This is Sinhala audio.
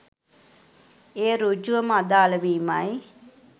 එය සෘජුවම අදාළ වීමයි.